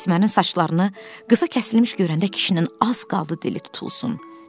Əsmərin saçlarını qısa kəsilmiş görəndə kişinin az qaldı dili tutulsun.